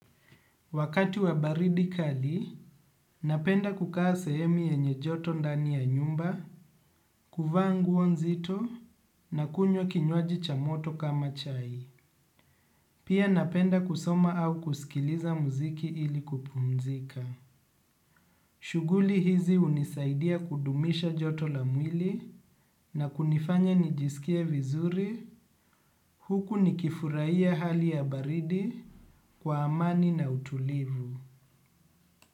Wakati wa baridi kali, napenda kukaa sehemu yenye joto ndani ya nyumba, kuvaa nguo nzito nakunywa kinywaji cha moto kama chai. Pia napenda kusoma au kusikiliza muziki ili kupumzika. Shughuli hizi hunisaidia kudumisha joto la mwili na kunifanya nijisikie vizuri, huku nikifuraia hali ya baridi kwa amani na utulivu.